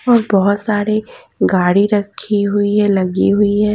और बहुत सारे गाड़ी रखी हुई हैं लगी हुई है।